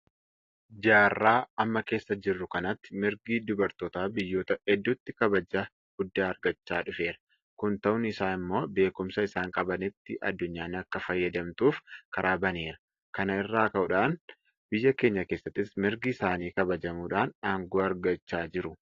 Jaarraa amma keessa jirru kanatti mirgi dubartootaa biyyoota hedduutti kabaja guddaa argachaa dhufeera. Kun ta'uun isaa immoo beekumsa isaan qabanitti addunyaan akka fayyadamtuuf karaa baneera. Kana irraa ka'uudhaan biyya keenya keessattis mirgi isaanii kabajamuudhaan aangoo argachaa jiru.